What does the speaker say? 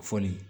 Fɔ nin